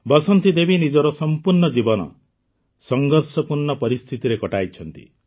ବସନ୍ତି ଦେବୀ ନିଜର ସମ୍ପୂର୍ଣ୍ଣ ଜୀବନ ସଂଘର୍ଷପୂର୍ଣ୍ଣ ପରିସ୍ଥିତିରେ କଟାଇଛନ୍ତି